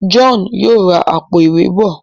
John yóò rá Àpò-ìwé bọ.